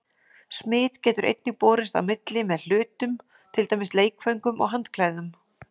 Smit getur einnig borist á milli með hlutum, til dæmis leikföngum og handklæðum.